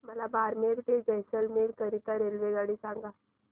मला बारमेर ते जैसलमेर करीता रेल्वेगाडी सांगा